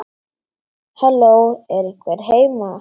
Halló, er einhver heima?